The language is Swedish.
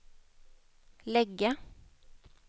lägga